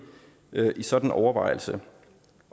i sådan en overvejelse